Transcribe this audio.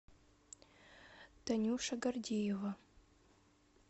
танюша гордеева